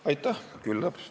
Aitäh!